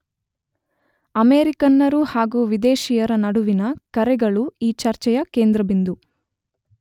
ಅಮೇರಿಕನ್ನರು ಹಾಗೂ ವಿದೇಶೀಯರ ನಡುವಿನ ಕರೆಗಳು ಈ ಚರ್ಚೆಯ ಕೇಂದ್ರಬಿಂದು.